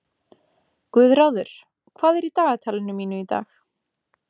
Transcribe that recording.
Guðráður, hvað er í dagatalinu mínu í dag?